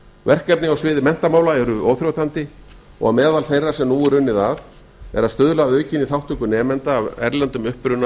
verkefni atriði menntamála eru óþrjótandi og meðal þeirra sem nú er unnið að er að stuðla að aukinni þátttöku nemenda af erlendum uppruna